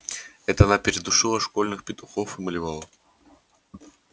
это она передушила школьных петухов и малевала